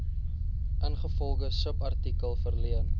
ingevolge subartikel verleen